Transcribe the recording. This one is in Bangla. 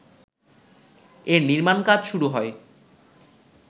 এর নির্মাণকাজ শুরু হয়